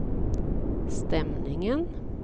stämningen